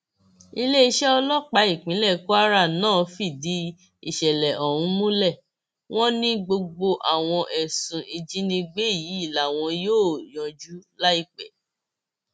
iléeṣẹ ọlọpàá ìpínlẹ kwara náà fìdí ìṣẹlẹ ọhún múlẹ wọn ni gbogbo àwọn ẹsùn ìjínigbé yìí làwọn yóò yanjú láìpẹ